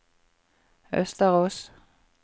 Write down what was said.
Østerås